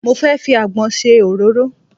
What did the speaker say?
Mo fẹ́ fi àgbọn ṣe òróró.